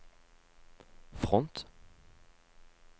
front